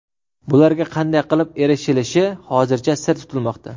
Bularga qanday qilib erishilishi hozircha sir tutilmoqda.